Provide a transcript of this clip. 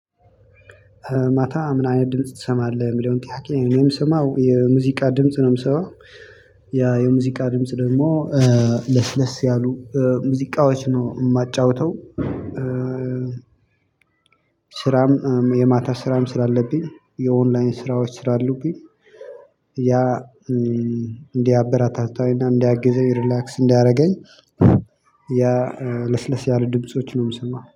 ማታ ምን አይነት ድምጽ ትሰማለህ የሚለውን ጥያቄ እኔ ምሰማው የሙዚቃ ድምጽ ነው የምሰማው። ያ የሙዚቃ ድምጽ ደግሞ ለስለስ ያሉ ሙዚቃዎች ነው የማጫውተው። ስራም የማታ ስራም ስላለብኝ የኦንላይን ስራዎች ስላሉብኝ ያ እንዲያበረታታኝ እና እንዲያግዘኝ ሪላክስ እንዲያደርገኝ። ያ ለስለስ ያሉ ድምጾች ነው የምሰማው